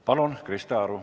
Palun, Krista Aru!